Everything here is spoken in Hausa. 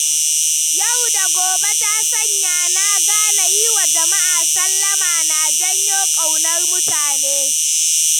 Yau-da-gobe ta sanya na gane yiwa jama'a sallama na janyo ƙaunar mutane.